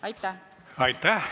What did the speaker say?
Aitäh!